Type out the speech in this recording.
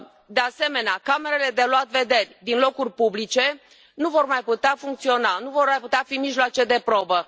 De asemenea, camerele de luat vederi din locuri publice nu vor mai putea funcționa, nu vor mai putea fi mijloace de probă.